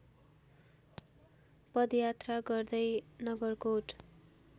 पदयात्रा गर्दै नगरकोट